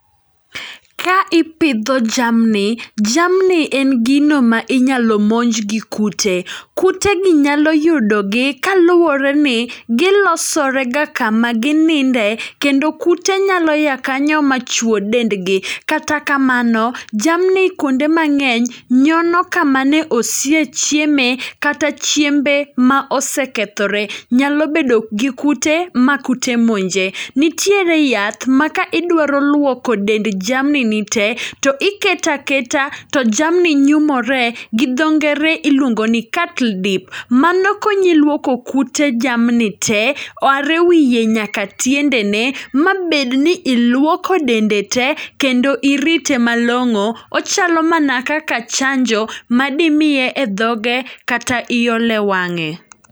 Ka ipidho jamni, jamni en gino ma inyalo monj gi kute. Kute gi nyalo yudo gi kaluwore ni gilosore ga kama gininde kendo kute nyalo ya kanyo ma chwo dendgi. Kata kamano, jamni kuonde mang'eny, nyono kama ne osie chieme, kata chiembe ma osekethore. Nyalo bedo gi kute, ma kute monje. Nitiere yath ma ka idwaro luoko dend jamni ni te, to iketa keta to jamni nyumore. Gidho ngere iluongo ni cattle dip, mano konyi luoko kute jamni te, are wiye nyaka tiende ne. Ma bedni iluoko dende te, kendo irite malong'o, ochalo mana kaka chanjo ma dimiye e dhoge kata iole wang'e.